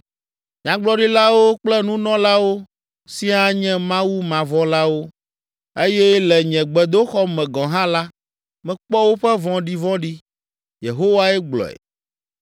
“Nyagblɔɖilawo kple Nunɔlawo siaa nye Mawumavɔ̃lawo eye le nye gbedoxɔ me gɔ̃ hã la, mekpɔ woƒe vɔ̃ɖivɔ̃ɖi.” Yehowae gblɔe.